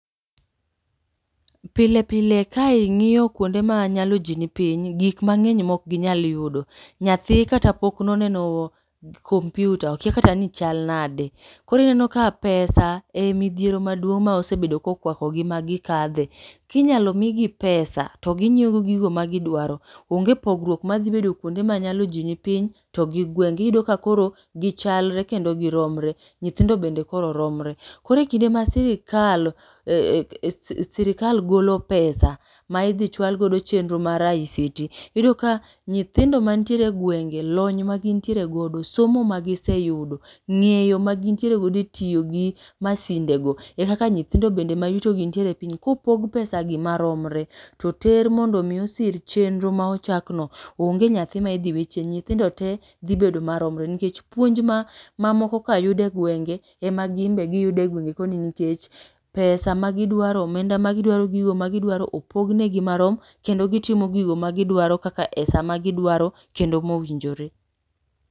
Pile pile ka ing'iyo kwonde manyalo ji ni piny gik mang'eny mok ginyal yudo. Nyathi kata pok noneno computer okia kata ni chal nade. Koro inenoka pesa en midhiero maduong' ma osebedo kokwakogi magi kadhe. Kinyalo migi pesa to gi nyiewogo gigo magi dwaro. Onge pogruok madhi bedo kuonde manyalo ji ni piny to gi gweng'gi iyudo ka koro gichalre kendo gi romre nyithindo bende koro romre. Koro kinde masirikal ee sirikal golo pesa ma idhi chwal godo chenro mar IECD.Iyudoka nyithindo mantiere egwenge lony magintiere godo somo magi giseyudo.Ng'eyo magintiere godo etiyogi masindego ekaka nyithindo bende mayutogi nitiere epiny kopog pesagi maromre, toter mondo mi osir chenro ma ochakno onge nyathi ma idhi we chien nyithindo te dhi bedo maromre nikech puonj ma mamokoka yudo e gwenge emaginbe giyudo egwenge koni nikech pesa magidwaro omenda magidwaro gi yoo magidwaro opognegi marom kendo gitimo gigo magidwaro kaka esama gidwaro kendo mowinjore.